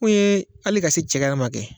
Mun yee ali ka se cɛgɛ yɛrɛma kɛ